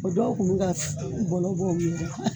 O dɔw tun ka u bɔlɔ bɔ